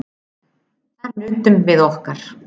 Þar nutum við okkar.